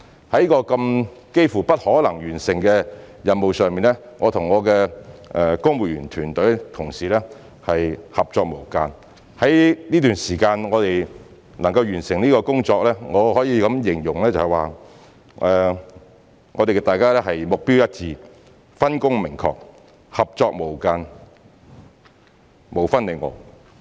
在這個幾乎不可能完成的任務上，我和我的公務員團隊同事合作無間，能夠在這段時間完成工作，我可以形容大家是目標一致、分工明確、合作無間、無分你我。